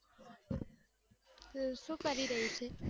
સુ કરી રહી છે